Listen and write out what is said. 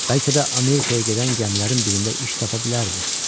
Bəlkə də Amerikaya gedən gəmilərin birində iş tapa bilərdi.